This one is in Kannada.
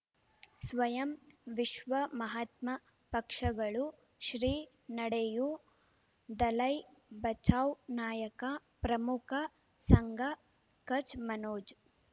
ಸ್ವಯಂ ವಿಶ್ವ ಮಹಾತ್ಮ ಪಕ್ಷಗಳು ಶ್ರೀ ನಡೆಯೂ ದಲೈ ಬಚೌ ನಾಯಕ ಪ್ರಮುಖ ಸಂಘ ಕಚ್ ಮನೋಜ್